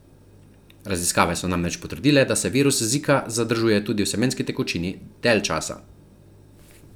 Raziskave so namreč potrdile, da se virus zika zadržuje tudi v semenski tekočini dalj časa.